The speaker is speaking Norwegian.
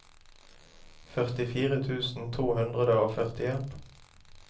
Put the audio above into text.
førtifire tusen to hundre og førtien